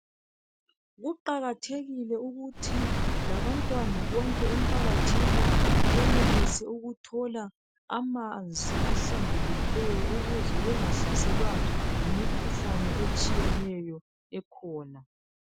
Kuqakathekile ukuthi labantwana bonke emphakathini benelise ukuthola amanzi ahlambulukileyo ukuze bengahlaselwa yimikhuhlane etshiyeneyo ekhona.